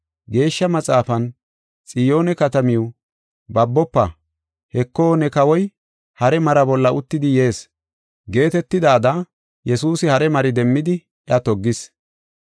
Geeshsha Maxaafan, “Xiyoone katamaw, babofa! Heko, ne Kawoy hare mara bolla uttidi yees” geetetidayada Yesuusi hare mari demmidi iya toggis.